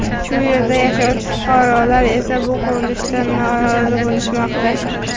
Shu yerda yashovchi fuqarolar esa bu qurilishdan norozi bo‘lishmoqda.